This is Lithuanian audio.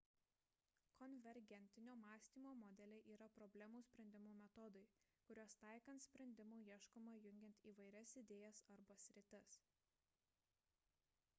konvergentinio mąstymo modeliai yra problemų sprendimo metodai kuriuos taikant sprendimo ieškoma jungiant įvairias idėjas arba sritis